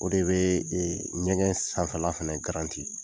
O de bɛ ɲɛgɛn sanfɛla fɛnɛ